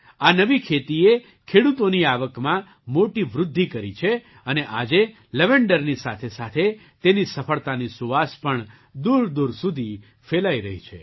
આ નવી ખેતીએ ખેડૂતોની આવકમાં મોટી વૃદ્ધિ કરી છે અને આજે લવેન્ડરની સાથેસાથે તેની સફળતાની સુવાસ પણ દૂરદૂર સુધી ફેલાઈ રહી છે